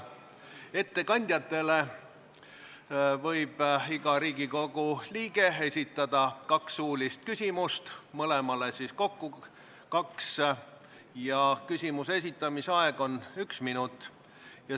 Ettekandjatele võib iga Riigikogu liige esitada kaks suulist küsimust – mõlemale kokku kaks – ja küsimuse esitamiseks on aega üks minut.